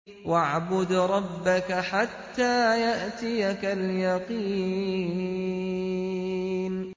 وَاعْبُدْ رَبَّكَ حَتَّىٰ يَأْتِيَكَ الْيَقِينُ